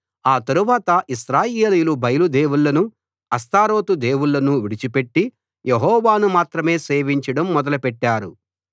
ఆ తరువాత ఇశ్రాయేలీయులు బయలు దేవుళ్ళను అష్తారోతు దేవుళ్ళను విడిచిపెట్టి యెహోవాను మాత్రమే సేవించడం మొదలుపెట్టారు